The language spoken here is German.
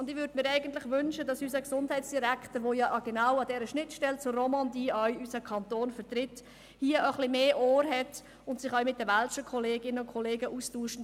und ich würde mir eigentlich wünschen, dass unser Gesundheitsdirektor, der unseren Kanton ja auch genau an der Schnittstelle zur Romandie vertritt, hier auch ein wenig mehr Ohr hat und sich auch mit den welschen Kolleginnen und Kollegen austauscht.